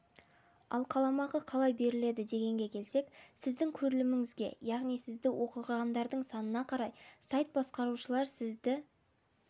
ал қаламақы қалай беріледі дегенге келсек сіздің көріліміңізге яғни сізді оқығандардың санына қарай сайт басқарушылар сізді